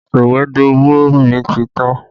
Sọ̀wédowó mi ti tán